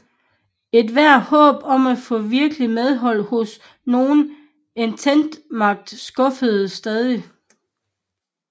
Ethvert håb om at få virkeligt medhold hos nogen ententemagt skuffedes stadig